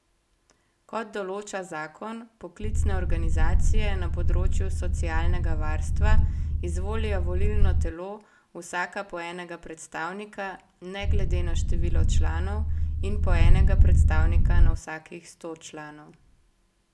Kot določa zakon, poklicne organizacije na področju socialnega varstva izvolijo v volilno telo vsaka po enega predstavnika ne glede na število članov in po enega predstavnika na vsakih sto članov.